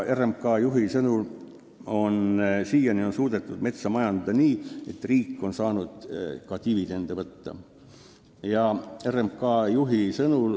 RMK juhi sõnul on siiani suudetud metsa majandada nii, et riik on saanud ka dividende võtta.